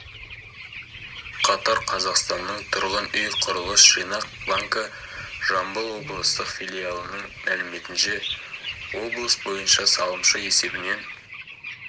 қатар қазақстанның тұрғын үй құрылыс жинақ банкі жамбыл облыстық филиалының мәліметінше облыс бойынша салымшы есебінен